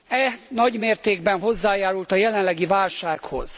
Ez nagymértékben hozzájárult a jelenlegi válsághoz.